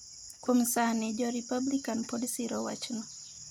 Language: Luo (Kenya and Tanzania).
Kuom sani, jo Republikan pod siro wachno.